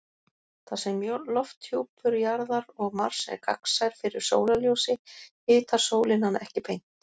Þar sem lofthjúpur Jarðar og Mars er gagnsær fyrir sólarljósi hitar sólin hann ekki beint.